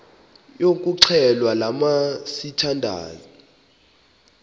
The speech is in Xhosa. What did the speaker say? yokuxhelwa lamla sithandazel